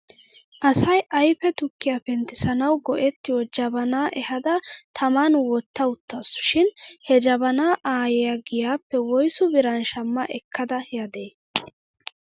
Asay ayfe tukkiyaa penttissanaw go'ettiyoo jabanaa ehada taman wottawttasu shin he jabanaa aayyiyaa giyaappe woysu biran shama ekkada yaadee ?